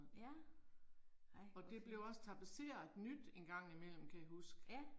Ja. Ej hvor fedt. Ja